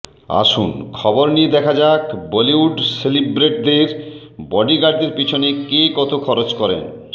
আসুন খবর নিয়ে দেখা যাক বলিউড সেলেবদের কে বডিগার্ডদের পিছনে কত খরচ করেন